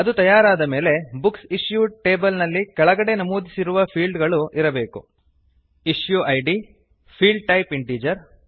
ಅದು ತಯಾರಾದ ಮೇಲೆ ಬುಕ್ಸ್ ಇಶ್ಯೂಡ್ ಟೇಬಲ್ ನಲ್ಲಿ ಕೆಳಗೆ ನಮೂದಿಸಿರುವ ಫೀಲ್ಡ್ ಗಳು ಇರಬೇಕು issue id field type integer